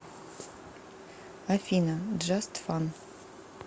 афина джаст фан